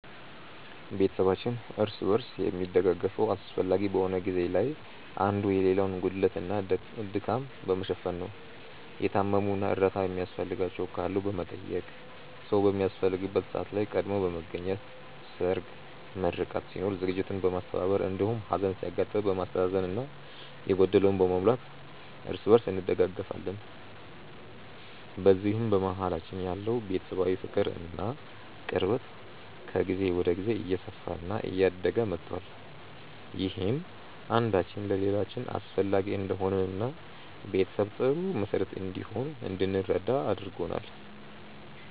ቤተሰባችን እርስ በርስ የሚደጋገፈው አስፈላጊ በሆነ ጊዜ ላይ አንዱ የሌላውን ጉድለት እና ድካም በመሸፈን ነው። የታመሙ እና እርዳታ የሚያስፈልጋቸው ካሉ በመጠየቅ፣ ሰዉ በሚያስፈልግበት ሰዓት ላይ ቀድሞ በመገኘት ሰርግ፣ ምርቃት ሲኖር ዝግጅቱን በማስተባበር እንዲሁም ሀዘን ሲያጋጥም በማስተዛዘን እና የጎደለውን በመሙላት እርስ በእርስ እንደጋገፋለን። በዚህም በመሀላችን ያለው ቤተሰባዊ ፍቅር እና ቅርበት ከጊዜ ወደ ጊዜ እየሰፋ እና እያደገ መቷል። ይህም አንዳችን ለሌላችን አስፈላጊ እንደሆንን እና ቤተሰብ ጥሩ መሰረት እንደሆነ እንድንረዳ አድርጎናል።